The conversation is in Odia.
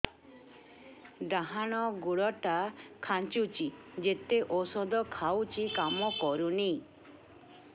ଡାହାଣ ଗୁଡ଼ ଟା ଖାନ୍ଚୁଚି ଯେତେ ଉଷ୍ଧ ଖାଉଛି କାମ କରୁନି